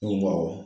Ko awɔ